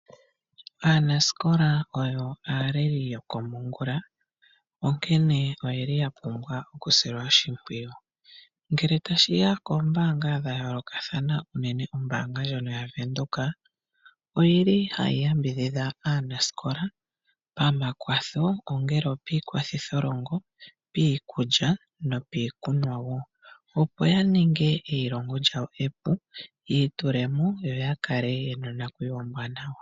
Aanasikola oyo aaleli yokomongula, onkene oya pumbwa okusilwa oshimpwiyu. Ngele tashi ya koombaanga dha yoolokathana, unene ombaanga ndjono yaVenduka ohayi yambidhidha aanasikola pamakwatho, ongele opiikwathitholongo, piikulya nopiikunwa wo, opo ya ninge elongo lyawo epu, yi itule mo yo ya kale ye na onakuyiwa yawo ombwaanawa.